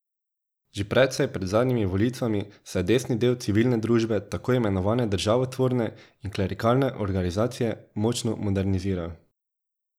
Že precej pred zadnjimi volitvami se je desni del civilne družbe, tako imenovane državotvorne in klerikalne organizacije, močno moderniziral.